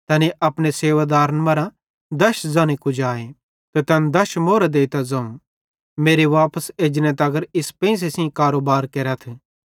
तैनी अपने सेवादारन मरां दश ज़न्हे कुजाए ते तैन दश अश्रेफी देइतां ज़ोवं मेरे वापस एजने तगर इस पेंइसे सेइं कारोबार केरथ